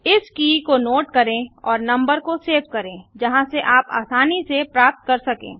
इस की को नोट करें और नम्बर को सेव करें जहाँ से आप आसनी से प्राप्त कर सकें